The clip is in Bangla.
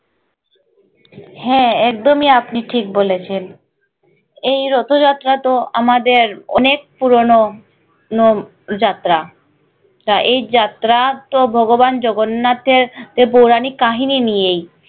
হ্যাঁ একদমই আপনি ঠিক বলেছেন এই রথ যাত্রা তো আমাদের অনেক পুরোনো নো যাত্রা তা এই যাত্রা তো ভগবান জগন্নাথের যে পৌরাণিক কাহানি নিয়েই